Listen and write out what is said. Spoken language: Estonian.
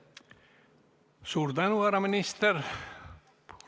Suur tänu, härra minister!